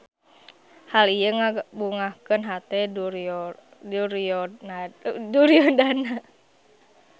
Hal ieu ngabungahkeun hate Duryodana.